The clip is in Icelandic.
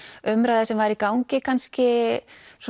umræða sem var í gangi kannski